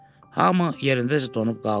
Hamı yerindəcə donub qaldı.